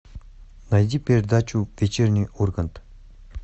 найди передачу вечерний ургант